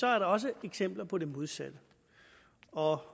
er der også eksempler på det modsatte og